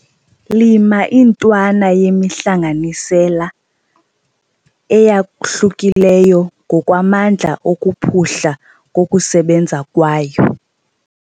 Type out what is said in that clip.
Lima intwana yemihlanganisela eyahlukileyo ngokwamandla okuphuhla kokusebenza kwayo.